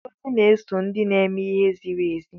Ngọzi na-eso ndị na-eme ihe ziri ezi